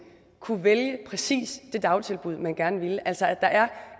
kunne vælge præcis det dagtilbud man gerne ville altså at der er